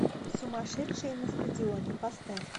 сумасшедшие на стадионе поставь